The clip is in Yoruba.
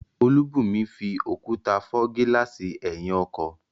Olúbùnmi fi òkúta fọ́ gílààsì ẹ̀yìn ọkọ̀